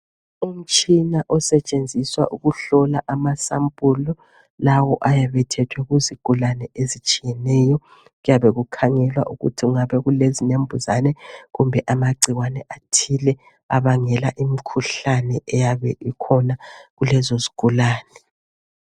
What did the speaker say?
Umtshina osetshenziswa ukuhlola amasambulu, lawo ayabe ethethwe kuzigulane ezitshiyeneyo, kuyabe kukhangelwala ukuthi kungabe kule zinembuzane kumbe amagcikwane athili ayabe ebangela imkuhlane eyabe ikhona kulezo zigulane.